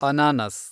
ಅನಾನಸ್‌